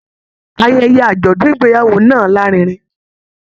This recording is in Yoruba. Ayẹyẹ ajọdun ìgbéyàwó náà larinrin.